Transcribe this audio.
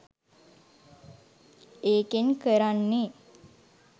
ඒකෙන් කරන්නේ